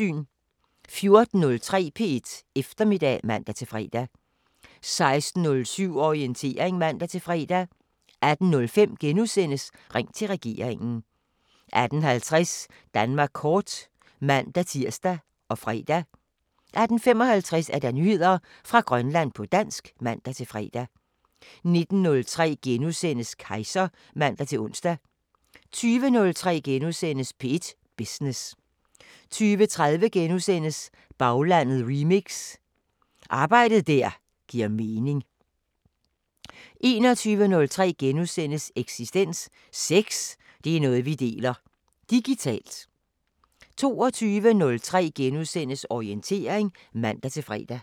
14:03: P1 Eftermiddag (man-fre) 16:07: Orientering (man-fre) 18:05: Ring til regeringen * 18:50: Danmark kort (man-tir og fre) 18:55: Nyheder fra Grønland på dansk (man-fre) 19:03: Kejser *(man-ons) 20:03: P1 Business * 20:30: Baglandet remix: Arbejde der giver mening * 21:03: Eksistens: Sex, det er noget vi deler; digitalt * 22:03: Orientering *(man-fre)